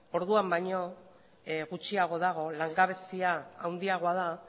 orduan baino gutxiago dago langabezia handiagoa da